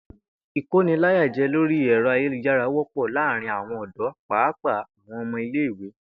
Ìkóniláyàjé̩ lórí è̩ro̩ ayélujára wó̩pò̩ láàárín àwo̩n ò̩dó̩ pàápàá àwo̩n o̩mo̩ ilé ìwé